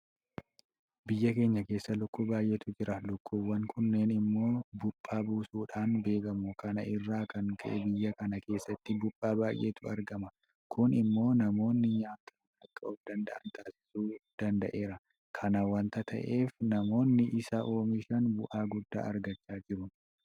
Biyya keenya keessa lukkuu baay'eetu jira. Lukkuuwwan kunneen immoo Buuphaa buusuudhaan beekamu. Kana irraa kan ka'e biyya kana keessatti buuphaa baay'eetu argama. Kun immoo namoonni nyaataan akka ofdanda'an taasisuu danda'eera. Kana waanta ta'eef namoonni isa oomishan bu'aa guddaa argachaa jiru.